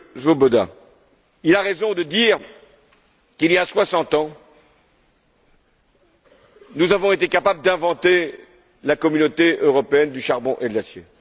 M. Swoboda, il a raison de dire qu'il y a soixante ans, nous avons été capables d'inventer la Communauté européenne du charbon et de l'acier.